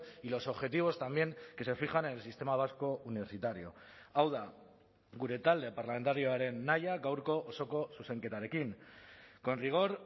y los objetivos también que se fijan en el sistema vasco universitario hau da gure talde parlamentarioaren nahia gaurko osoko zuzenketarekin con rigor